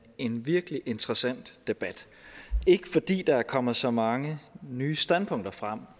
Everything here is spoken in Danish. en virkelig interessant debat ikke fordi der er kommet så mange nye standpunkter frem